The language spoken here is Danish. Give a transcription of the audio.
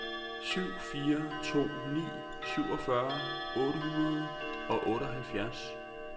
syv fire to ni syvogfyrre otte hundrede og otteoghalvfjerds